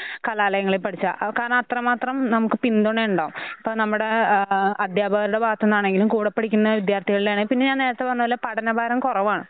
ഹ് കലാലയങ്ങളിൽ പഠിച്ച അവക്കാരണത്രമാത്രം നമുക്ക് പിന്തുണയുണ്ടാവും. ഇപ്പ നമ്മുടെ ഏഹ് അധ്യാപക ഭാഗത്തുനിന്ന് ആണെങ്കിലും കൂടെപഠിക്കുന്ന വിദ്യാർഥികളുടെയാണെ പിന്നെ ഞാൻ നേരെത്തെ പറഞ്ഞപോലെ പഠനഭാരം കുറവാണ്.